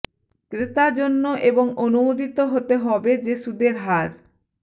ক্রেতা জন্য এবং অনুমোদিত হতে হবে যে সুদের হার